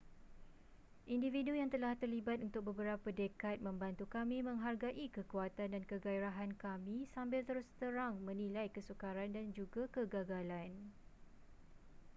individu yang telah terlibat untuk beberapa dekad membantu kami menghargai kekuatan dan keghairahan kami sambil terus terang menilai kesukaran dan juga kegagalan